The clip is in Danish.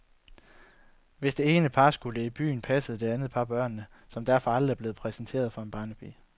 Hvis det ene par skulle i byen, passede det andet par børnene, som derfor aldrig blev præsenteret for en barnepige.